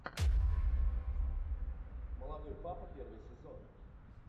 молодой папа первый сезон